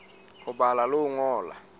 ho bala le ho ngola